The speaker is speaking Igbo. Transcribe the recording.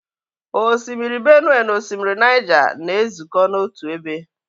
Osimiri Benue na osimiri Niger na-ezukọ n'otu ebe.